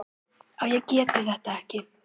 að ég geti þetta ekki.